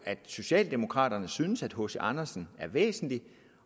hvad socialdemokraterne synes nemlig at hc andersen er væsentlig